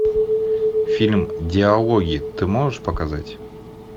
фильм диалоги ты можешь показать